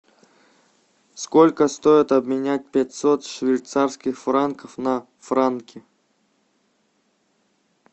сколько стоит обменять пятьсот швейцарских франков на франки